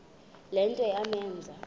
le nto yamenza